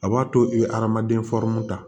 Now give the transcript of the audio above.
A b'a to i bɛ hadamaden ta